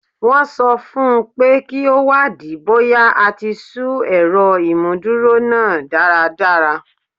Wọ́n sọ fún un pé kí ó wádìí bóyá a ti ṣú ẹ̀rọ ìmúdúró náà dáradára